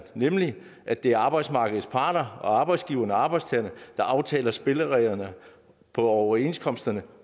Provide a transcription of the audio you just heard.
nemlig at det er arbejdsmarkedets parter arbejdsgiverne og arbejdstagerne der aftaler spillereglerne for overenskomsterne